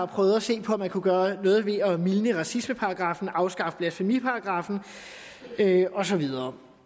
prøvede at se på om man kunne gøre noget ved at mildne racismeparagraffen og afskaffe blasfemiparagraffen og så videre